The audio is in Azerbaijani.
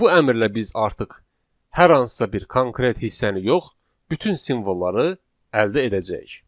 Bu əmrlə biz artıq hər hansısa bir konkret hissəni yox, bütün simvolları əldə edəcəyik.